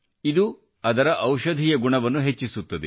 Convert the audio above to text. ಇದು ಅದರ ಔಷಧೀಯ ಗುಣವನ್ನು ಹೆಚ್ಚಿಸುತ್ತದೆ